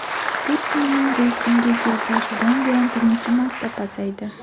Putinning reytingi yil boshidan buyon birinchi marta pasaydi.